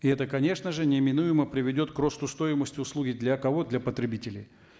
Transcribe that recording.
и это конечно же неминуемо приведет к росту стоимости услуги для кого для потребителей